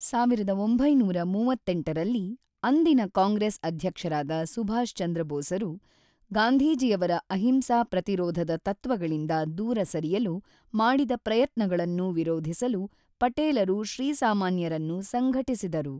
೧೯೩೮ರಲ್ಲಿ ಅಂದಿನ ಕಾಂಗ್ರೆಸ್ ಅಧ್ಯಕ್ಷರಾದ ಸುಭಾಷ್ ಚಂದ್ರ ಬೋಸರು ಗಾಂಧೀಜಿಯವರ ಅಹಿಂಸಾ ಪ್ರತಿರೋಧದ ತತ್ವಗಳಿಂದ ದೂರ ಸರಿಯಲು ಮಾಡಿದ ಪ್ರಯತ್ನಗಳನ್ನು ವಿರೋಧಿಸಲು ಪಟೇಲರು ಶ್ರೀಸಾಮಾನ್ಯರನ್ನು ಸಂಘಟಿಸಿದರು.